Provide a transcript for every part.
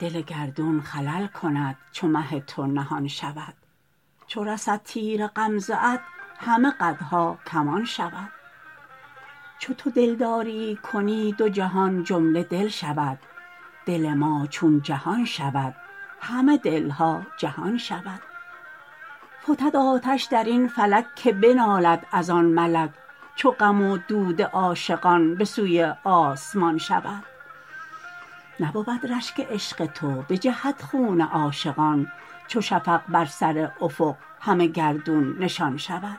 دل گردون خلل کند چو مه تو نهان شود چو رسد تیر غمزه ات همه قدها کمان شود چو تو دلداریی کنی دو جهان جمله دل شود دل ما چون جهان شود همه دل ها جهان شود فتد آتش در این فلک که بنالد از آن ملک چو غم و دود عاشقان به سوی آسمان شود نبود رشک عشق تو بجهد خون عاشقان چو شفق بر سر افق همه گردون نشان شود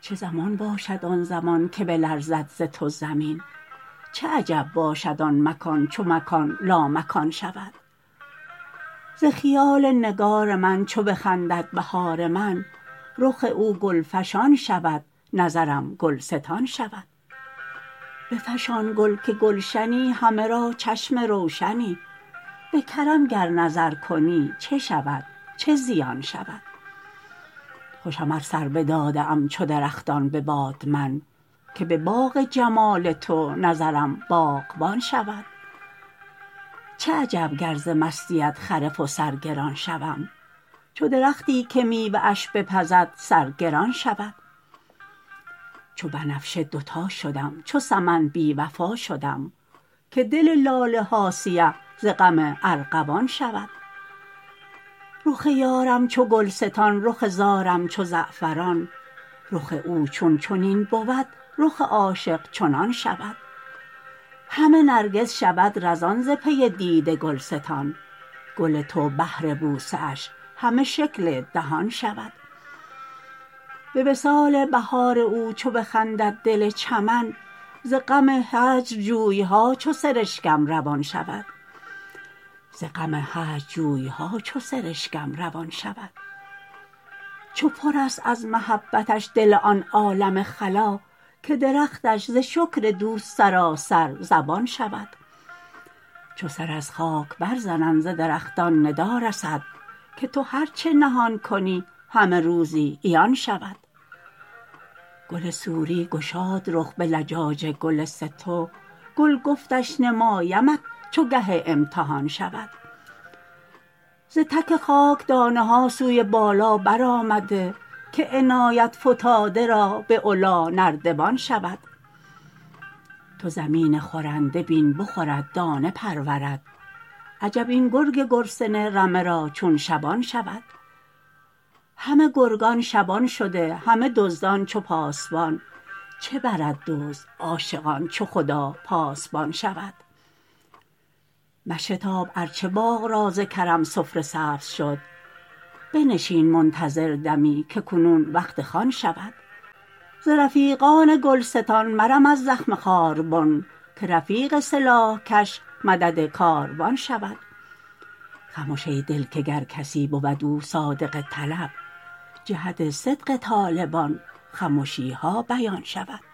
چه زمان باشد آن زمان که بلرزد ز تو زمین چه عجب باشد آن مکان چو مکان لامکان شود ز خیال نگار من چو بخندد بهار من رخ او گلفشان شود نظرم گلستان شود بفشان گل که گلشنی همه را چشم روشنی به کرم گر نظر کنی چه شود چه زیان شود خوشم ار سر بداده ام چو درختان به باد من که به باغ جمال تو نظرم باغبان شود چه عجب گر ز مستیت خرف و سرگران شوم چو درختی که میوه اش بپزد سرگران شود چو بنفشه دوتا شدم چو سمن بی وفا شدم که دل لاله ها سیه ز غم ارغوان شود رخ یارم چو گلستان رخ زارم چو زعفران رخ او چون چنین بود رخ عاشق چنان شود همه نرگس شود رزان ز پی دید گلستان گل تو بهر بوسه اش همه شکل دهان شود به وصال بهار او چو بخندد دل چمن ز غم هجر جوی ها چو سرشکم روان شود چه پرست از محبتش دل آن عالم خلا که درختش ز شکر دوست سراسر زبان شود چو سر از خاک برزنند ز درختان ندا رسد که تو هر چه نهان کنی همه روزی عیان شود گل سوری گشاد رخ به لجاج گل سه تو گل گفتش نمایمت چو گه امتحان شود ز تک خاک دانه ها سوی بالا برآمده که عنایت فتاده را به علی نردبان شود تو زمین خورنده بین بخورد دانه پرورد عجب این گرگ گرسنه رمه را چون شبان شود همه گرگان شبان شده همه دزدان چو پاسبان چه برد دزد عاشقان چو خدا پاسبان شود مشتاب ار چه باغ را ز کرم سفره سبز شد بنشین منتظر دمی که کنون وقت خوان شود ز رفیقان گلستان مرم از زخم خاربن که رفیق سلاح کش مدد کاروان شود خمش ای دل که گر کسی بود او صادق طلب جهت صدق طالبان خمشی ها بیان شود